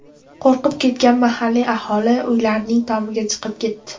Qo‘rqib ketgan mahalliy aholi uylarning tomiga chiqib ketdi.